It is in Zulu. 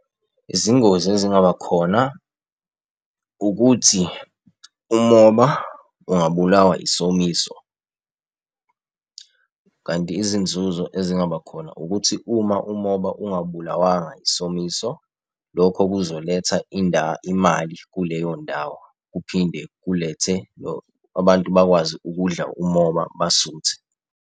Izingozi ezingaba khona ukuthi umoba ungabulawa yisomiso. Kanti izinzuzo ezingaba khona, ukuthi uma umoba ungabulawanga yisomiso, lokho kuzoletha imali kuleyo ndawo. Kuphinde kulethe abantu bakwazi ukudla umoba basuthe.